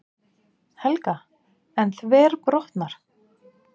Helga: En þverbrotnar?